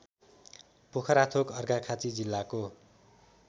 पोखराथोक अर्घाखाँची जिल्लाको